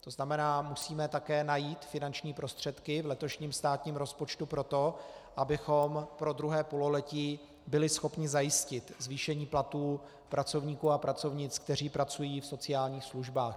To znamená, musíme také najít finanční prostředky v letošním státním rozpočtu pro to, abychom pro druhé pololetí byli schopni zajistit zvýšení platů pracovníků a pracovnic, kteří pracují v sociálních službách.